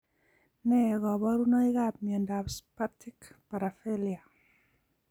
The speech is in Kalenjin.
Nee kaparunoik ap miondap spastic paraplegia